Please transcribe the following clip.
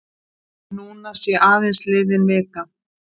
Núna sé aðeins liðinn vika.